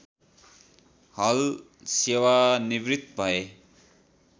हल सेवानिवृत्त भए